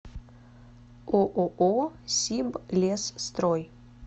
ооо сиблесстрой